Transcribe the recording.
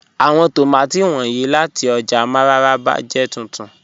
Àwọn tómátí wọnyí láti ọ́jà Mararaba jẹ́ túntún.